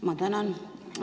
Ma tänan!